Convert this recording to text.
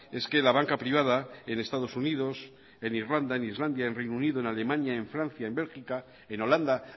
es que la banca privada en estados unidos en irlanda en islandia en reino unido en alemania en francia en bélgica en holanda